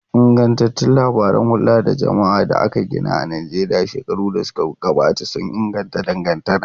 Ingantattun labaran hulda da jama'a da aka gina a Najeriya shekaru da suka gabata sun inganta dangantaka.